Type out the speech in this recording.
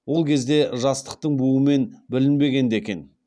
ол кезде жастықтың буымен білінбеген де екен